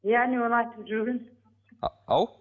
иә әнеу күні болатынын айтып жүрген ау